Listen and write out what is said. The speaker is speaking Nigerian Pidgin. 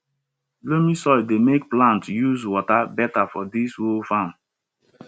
loamy soil dey make plants use water better for di whole farm